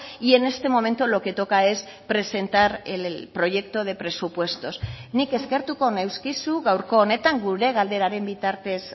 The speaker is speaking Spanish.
y en este momento lo que toca es presentar el proyecto de presupuestos nik eskertuko neuskizu gaurko honetan gure galderaren bitartez